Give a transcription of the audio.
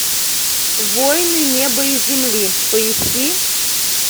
воины неба и земли поищи